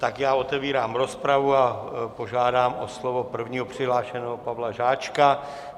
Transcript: Tak já otevírám rozpravu a požádám o slovo prvního přihlášeného, Pavla Žáčka.